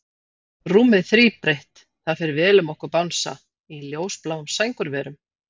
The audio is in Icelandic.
Rúmið þríbreitt, það fer vel um okkur Bangsa, í ljósbláum sængurverum.